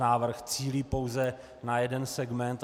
Návrh cílí pouze na jeden segment.